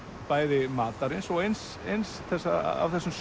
bæði matarins og eins eins af þessum